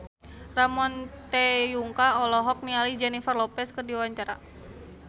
Ramon T. Yungka olohok ningali Jennifer Lopez keur diwawancara